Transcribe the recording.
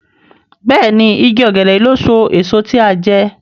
Béèni ìgi ògèdè yí ló so èso tí a jé.